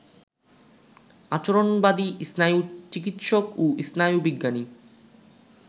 আচরণবাদী স্নায়ুচিকিতসক ও স্নায়ুবিজ্ঞানী